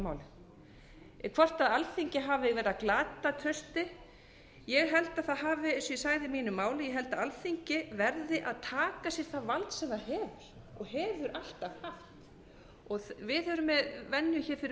máli hvort alþingi hafi verið að glata trausti ég held að það hafi eins og ég sagði í mínu máli ég held að alþingi verði að taka sér það vald sem það hefur og hefur alltaf haft við erum með venju hér fyrir